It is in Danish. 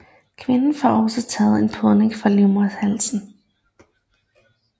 Kvinder får også taget en podning fra livmoderhalsen